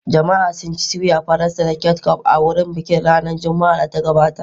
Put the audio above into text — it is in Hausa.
Jama'a sun ci soya Faransa da ketchup a wurin bikin ranar Juma'ar da ta gabata.